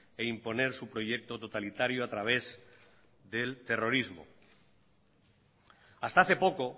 e imponer su proyecto totalitario a través del terrorismo hasta hace poco